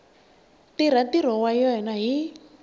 tirha ntirho wa yena hi